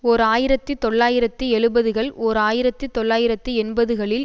ஓர் ஆயிரத்தி தொள்ளாயிரத்தி எழுபதுகள் ஓர் ஆயிரத்தி தொள்ளாயிரத்தி எண்பதுகளில்